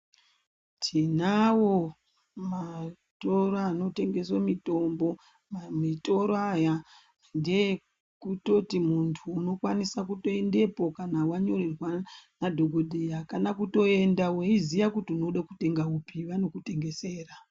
Tinawo matoro anotengeswe mitombo, mamitoro aya ngeekutoti muntu unokwanisa kuendepo kana wanyorerwa nadhokodheya kana kutoenda weiziya kuti unoda kutenga upi vanokutengesera.